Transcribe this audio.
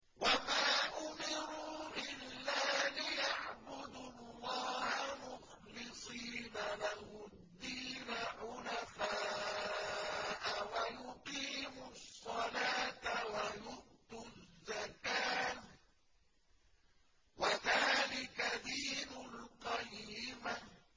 وَمَا أُمِرُوا إِلَّا لِيَعْبُدُوا اللَّهَ مُخْلِصِينَ لَهُ الدِّينَ حُنَفَاءَ وَيُقِيمُوا الصَّلَاةَ وَيُؤْتُوا الزَّكَاةَ ۚ وَذَٰلِكَ دِينُ الْقَيِّمَةِ